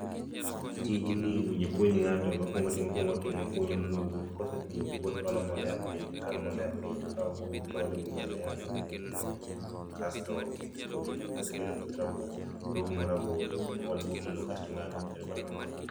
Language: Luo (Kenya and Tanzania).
Tijni owinjo apuonj ng'ato, gima okuong otimo, okunyo bugo, kosekunyo bugo to oolo mbolea piny, koseolo mbolea piny tokao buru toolo ewi mbolea mool e bugono kasto oketo kodhi ni. Koseketo koth rabolo toumo rabolo, oolo loo kasto ongado mbolea mapiny